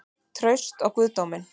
Traust á guðdóminn?